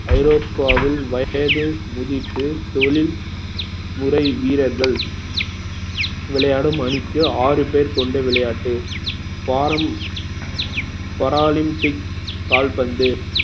ஐரோப்பாவில் வயது முதிர்த்து தொழில் முறை வீரர்கள் விளையாடும் அணிக்கு ஆறு பேர் கொண்ட விளையாட்டு para~ paralympic கால்பந்து